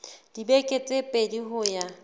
dibeke tse pedi ho ya